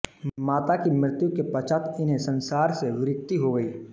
माता की मृत्यु के पश्चात इन्हें संसार से विरक्ति हो गई